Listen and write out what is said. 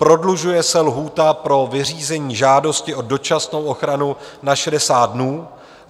Prodlužuje se lhůta pro vyřízení žádosti o dočasnou ochranu na 60 dnů.